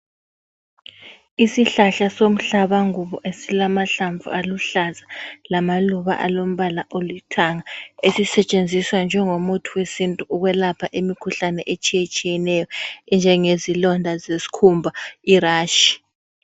Isihlahla somhlabangubo esilamahlamvu aluhlaza lamaluba alombala olithanga esisetsenziswa njengomuthi wesintu ukwelapha imikhuhlane etshiyetshiyeneyo enjengezilonda zesikhumba irashi.